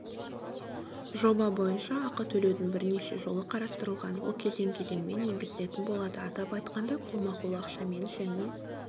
жоба бойынша ақы төлеудің бірнеше жолы қарастырылған ол кезең-кезеңмен енгізілетін болады атап айтқанда қолма-қол ақшамен және